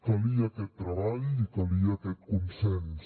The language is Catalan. calia aquest treball i calia aquest consens